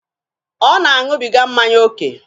Ọ na-aṅụbiga mmanya oke?